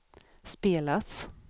spelas